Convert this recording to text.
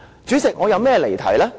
主席，我哪有離題？